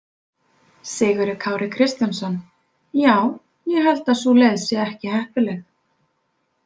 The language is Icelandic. Sigurður Kári Kristjánsson: Já, ég held að sú leið sé ekki heppileg.